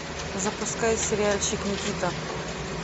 запускай сериальчик никита